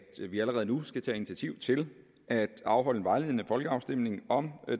vi allerede nu skal tage initiativ til at afholde en vejledende folkeafstemning om